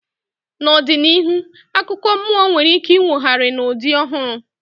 N'ọdịnihu, akụkọ mmụọ nwere ike inwogharị n'ụdị ọhụrụ